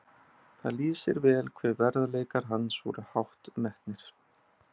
Það lýsir vel hve verðleikar hans voru hátt metnir.